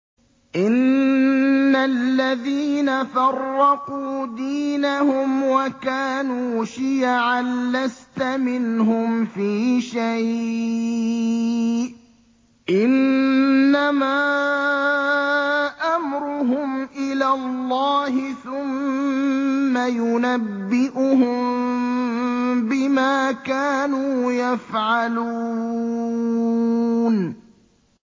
إِنَّ الَّذِينَ فَرَّقُوا دِينَهُمْ وَكَانُوا شِيَعًا لَّسْتَ مِنْهُمْ فِي شَيْءٍ ۚ إِنَّمَا أَمْرُهُمْ إِلَى اللَّهِ ثُمَّ يُنَبِّئُهُم بِمَا كَانُوا يَفْعَلُونَ